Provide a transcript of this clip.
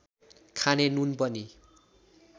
खाने नुन पनि